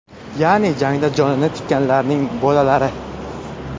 Ya’ni jangda jonini tikkanlarning bolalari.